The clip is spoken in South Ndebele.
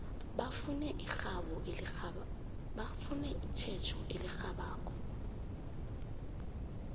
bafune itjhejo elirhabako